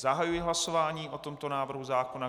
Zahajuji hlasování o tomto návrhu zákona.